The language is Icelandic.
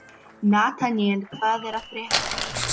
Nataníel, hvað er að frétta?